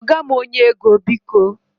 Kpọga m onye ego, biko.